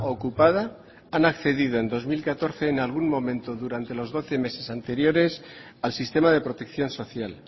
ocupada han accedido en dos mil catorce en algún momento durante los doce meses anteriores al sistema de protección social